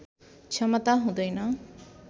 क्षमता हुँदैन